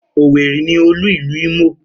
Owerri ni olú ìlú Imo.